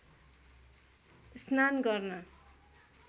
स्नान गर्न